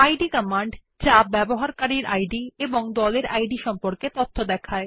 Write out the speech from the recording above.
Eid command যা user id এবং group id সম্পর্কে তথ্য দেয়